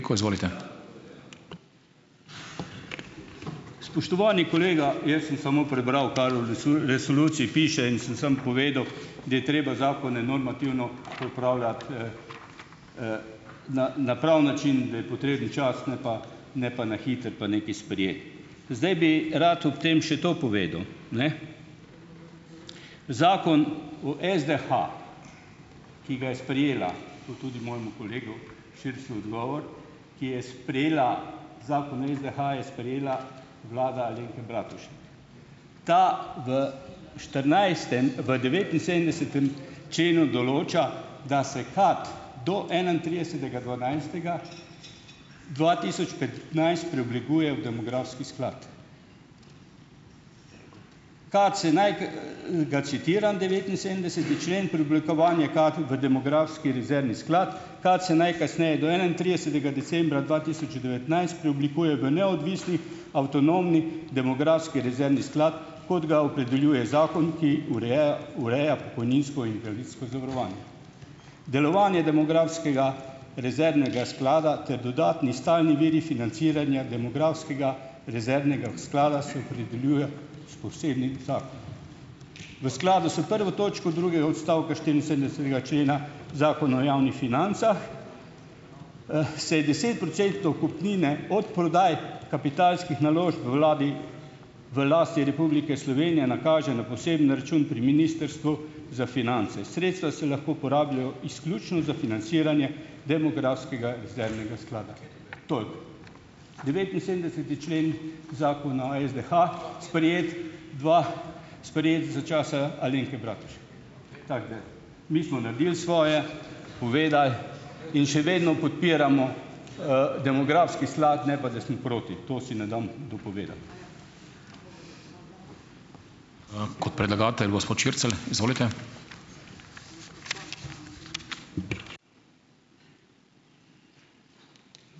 Spoštovani kolega! Jaz sem samo prebral, kar v resoluciji piše, in sem sam povedal, da je treba zakone normativno pripravljati, na na pravi način, da je potreben čas, ne pa ne pa na hitro pa nekaj sprejeti. Zdaj bi rad ob tem še to povedal, ne. Zakon o SDH, ki ga je sprejela, to tudi mojemu kolegu Širclju odgovor, ki je sprejela, Zakon o SDH je sprejela vlada Alenke Ta v štirinajstem v devetinsedemdesetem členu določa, da se KAD do enaintridesetega dvanajstega dva tisoč petnajst preoblikuje v demografski sklad. Ga citiram, devetinsedemdeseti člen, preoblikovanje KAD v demografski rezervni sklad: "KAD se najkasneje do enaintridesetega decembra dva tisoč devetnajst preoblikuje v neodvisni, avtonomni demografski rezervni sklad, kot ga opredeljuje zakon, ki ureja ureja pokojninsko in invalidsko Delovanje demografskega rezervnega sklada ter dodatni stalni viri financiranja demografskega rezervnega sklada se opredeljuje s posebnim V skladu s prvo točko drugega odstavka štiriinsedemdesetega člena Zakona o javnih financah, se desetprocentno kupnino od prodaj kapitalskih naložb vladi, v lasti Republike Slovenije nakaže na poseben račun pri Ministrstvu za finance. Sredstva se lahko porabljajo izključno za financiranje demografskega rezervnega sklada." Devetinsedemdeseti člen Zakona SDH, sprejet dva sprejet za časa Alenke Tako da ... Mi smo naredili svoje, povedali in še vedno podpiramo, demografski sklad, ne pa da smo proti. To si ne dam dopovedati.